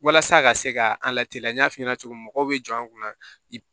Walasa a ka se ka an lateliya n'a f'i ɲɛna cogo min mɔgɔw bɛ jɔ an kunna